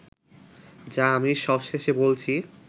যা আমি সবশেষে বলছি